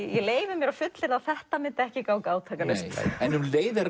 leyfi mér að fullyrða að þetta myndi ekki ganga átakalaust en um leið er